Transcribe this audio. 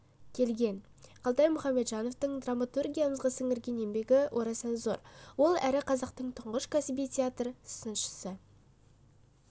келген қалтай мұхамеджановтың драматургиямызға сіңірген еңбегі орасан зор ол әрі қазақтың түңғыш кәсіби театр сыншысы